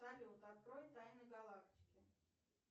салют открой тайны галактики